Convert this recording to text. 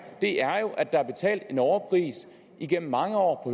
at der er betalt en overpris igennem mange år